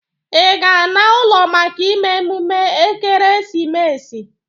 Ị ga-ana ụlọ maka ime emume ekeresimesi?